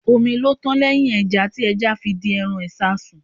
Omi ló tán lẹ́hìn ẹja, tí ẹja fi di èrò ìṣasùn.